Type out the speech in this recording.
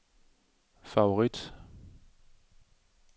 favorit